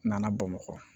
N nana bamakɔ